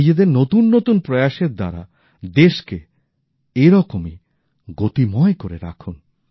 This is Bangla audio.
নিজেদের নতুন নতুন প্রয়াসের দ্বারা দেশকে এরকমই গতিময় করে রাখুন